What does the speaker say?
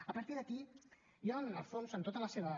a partir d’aquí jo en el fons en tota la seva